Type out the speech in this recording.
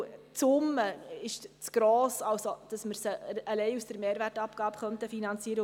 Denn die Summe zu gross ist, als dass wir sie allein aus der Mehrwertabgabe finanzieren könnten.